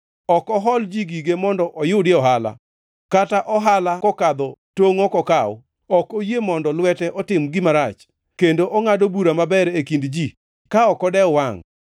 Ok ohol ji gige mondo oyudie ohala, kata ohala mokadho tongʼ ok okaw. Ok oyie mondo lwete otim gima rach kendo ongʼado bura maber e kind ji ka ok odew wangʼ.